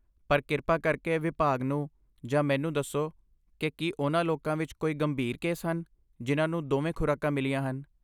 ਪਰ ਕਿਰਪਾ ਕਰਕੇ ਵਿਭਾਗ ਨੂੰ ਜਾਂ ਮੈਨੂੰ ਦੱਸੋ ਕਿ ਕੀ ਉਹਨਾਂ ਲੋਕਾਂ ਵਿੱਚ ਕੋਈ ਗੰਭੀਰ ਕੇਸ ਹਨ ਜਿਨ੍ਹਾਂ ਨੂੰ ਦੋਵੇਂ ਖੁਰਾਕਾਂ ਮਿਲੀਆਂ ਹਨ।